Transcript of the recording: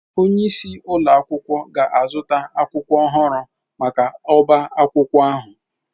Onye isi ụlọ akwụkwọ ga-azụta akwụkwọ ọhụrụ maka ọbá akwụkwọ ahụ